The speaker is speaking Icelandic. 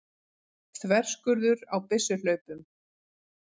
Þverskurður á byssuhlaupum.